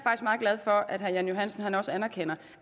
meget glad for at herre jan johansen også anerkender